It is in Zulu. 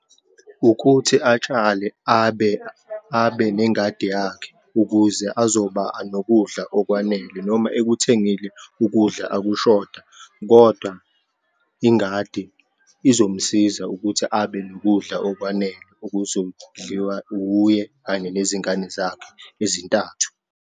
Ukuthi atshale abe, abe nengadi yakhe ukuze azoba anokudla okwanele, noma ekuthengile ukudla akushoda, kodwa ingadi izomsiza ukuthi abenokudla okwanele okuzodliwa wuye kanye nezingane zakhe ezintathu.